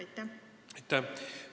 Aitäh!